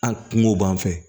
An kungo b'an fɛ